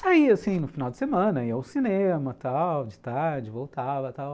Saía, assim, no final de semana, ia ao cinema e tal, de tarde voltava e tal.